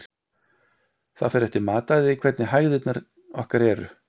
Það fer eftir mataræði hvernig hægðirnar okkar eru.